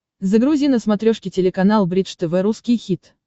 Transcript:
загрузи на смотрешке телеканал бридж тв русский хит